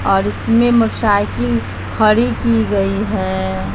और इसमें मोटरसाइकिल खड़ी की गई है।